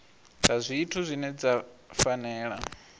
dza zwithu dzine dza fanela